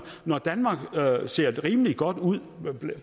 når danmark ser rimelig godt ud